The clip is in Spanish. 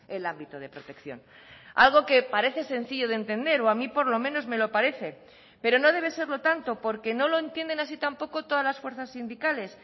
el ámbito de protección algo que parece sencillo de entender o a mí por lo menos me lo parece pero no debe serlo tanto porque no lo entienden así tampoco todas las fuerzas sindicales